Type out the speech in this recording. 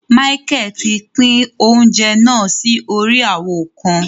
Michael tí n'pin oúnjẹ náà si órí awo kàn